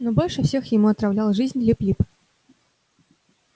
но больше всех ему отравлял жизнь лип лип